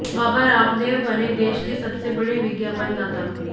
बाबा रामदेव बने देश के सबसे बड़े विज्ञापनदाता